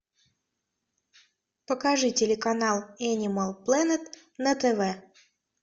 покажи телеканал энимал плэнет на тв